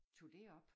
Tog det op